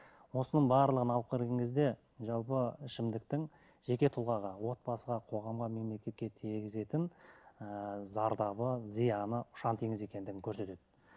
осының барлығын алып қараған кезде жалпы ішімдіктің жеке тұлғаға отбасыға қоғамға мемлекетке тигізетін ыыы зардабы зияны ұшан теңіз екендігін көрсетеді